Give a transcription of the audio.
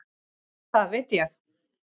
Það veit ég.